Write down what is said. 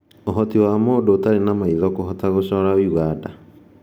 Ũhoti wa mũndũ ũtarĩ na maitho kũhota gũcora Uganda